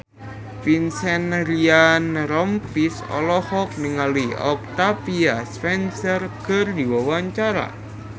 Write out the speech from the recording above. Vincent Ryan Rompies olohok ningali Octavia Spencer keur diwawancara